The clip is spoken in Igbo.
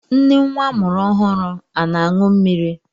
Nne nwa amụrụ ọhụrụ ana-aṅụ mmiri?